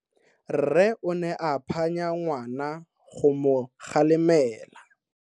Rre o ne a phanya ngwana go mo galemela.